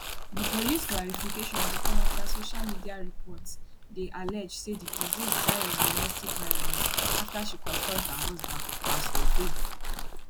di police clarification dey come afta social media reports dey allege say di deceased die of domestic violence afta she confront her husband pastor favour